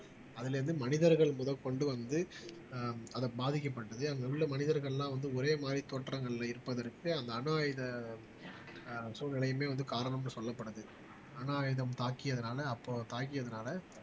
அதுல இருந்து மனிதர்கள் முதற்கொண்டு வந்து ஆஹ் அதை பாதிக்கப்பட்டது அங்க உள்ள மனிதர்கள் எல்லாம் வந்து ஒரே மாதிரி தோற்றங்கள்ல இருப்பதற்கு அந்த அணு ஆயுத ஆஹ் சூழ்நிலையுமே வந்து காரணம்னு சொல்லப்படுது அணு ஆயுதம் தாக்கியதனால அப்போ தாக்கியதனால